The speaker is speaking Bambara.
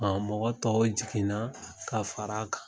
A mɔgɔ tɔw jiginna ka fara an kan